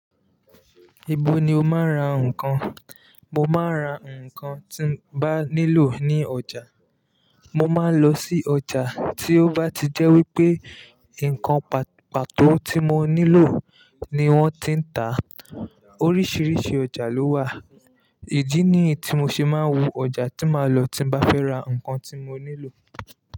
Ibo ni o máa ń ra nǹkan? Mo máa ń ra nǹkan tí mo bá nílò ní ọjà. Mo máa ń lọ sí ọjà tí ó bá ti jẹ́ wípé nǹkan pàtó tí mo nílò ni wọ́n ti ń tá. Oríṣiríṣi ọjà ló wà, ìdí ni tí mo ṣe máa ń wo ọjà tí màá lọ tí n bá fẹ́ ra nǹkan tí mo nílò.